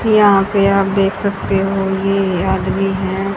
यहां पे आप देख सकते ये आदमी है।